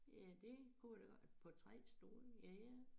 Ja dét kunne det da godt på 3 stole ja ja